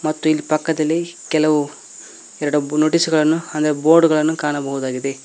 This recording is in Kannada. ಮತ್ತು ಪಕ್ಕದಲ್ಲಿ ಕೆಲವು ಎರಡು ನೋಟಿಸ್ ಗಳನ್ನು ಅಂದ್ರೆ ಬೋರ್ಡ್ ಗಳನ್ನು ಕಾಣಬಹುದಾಗಿದೆ.